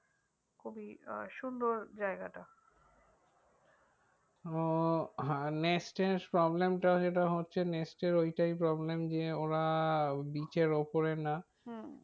হম